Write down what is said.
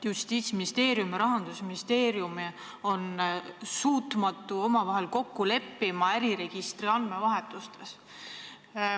Justiitsministeerium ja Rahandusministeerium ei suuda omavahel kokku leppida äriregistri andmevahetustes.